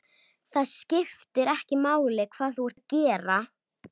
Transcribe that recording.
Það skiptir ekki máli hvað þú ert að gera.